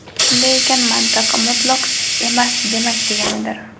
Shunday ekan, mantiq "mutloq" emas, "demak" deganidir.